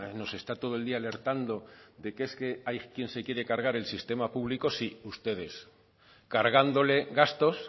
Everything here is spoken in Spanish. nos está todo el día alertando de que es que hay quien se quiere cargar el sistema público sí ustedes cargándole gastos